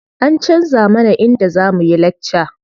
An canza mana inda za muyi lakca.